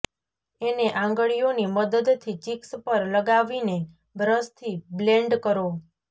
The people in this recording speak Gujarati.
એને આંગળીઓની મદદથી ચિક્સ પર લગાવીને બ્રશથી બ્લેન્ડ કરો